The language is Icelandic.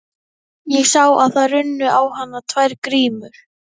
Ég sá að það runnu á hana tvær grímur.